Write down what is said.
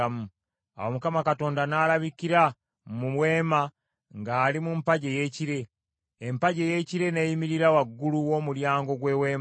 Awo Mukama Katonda n’alabikira mu Weema ng’ali mu mpagi ey’ekire; empagi ey’ekire n’eyimirira waggulu w’omulyango gw’Eweema.